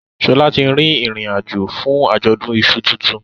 Shola tí rí ìrìn àjò fún Ajọdun iṣu títún